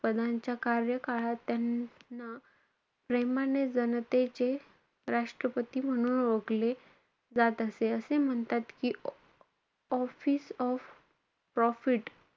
पदांच्या कार्यकाळात त्यांना प्रेमाने जनतेचे राष्ट्रपती म्हणून ओळखले जात असे. असे म्हणतात कि, office of profit,